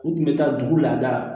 U kun bɛ taa dugu lada